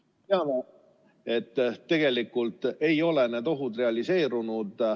Me teame, et tegelikult ei ole need ohud realiseerunud.